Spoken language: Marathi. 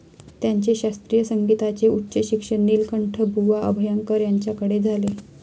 त्यांचे शास्त्रीय संगीताचे उच्च शिक्षण नीलकंठबुवा अभ्यंकर यांच्याकडे झाले.